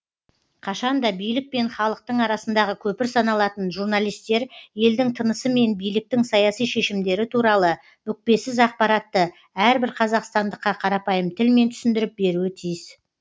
қашан да билік пен халықтың арасындағы көпір саналатын журналистер елдің тынысы мен биліктің саяси шешімдері туралы бүкпесіз ақпаратты әрбір қазақстандыққа қарапайым тілмен түсіндіріп беруі тиіс